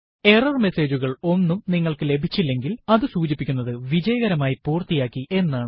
error message കൾ ഒന്നും നിങ്ങൾക്ക് ലഭിച്ചില്ലെങ്കിൽ അതു സൂചിപ്പിക്കുന്നത് വിജയകരമായി പൂര്ത്തിയാക്കി എന്നാണ്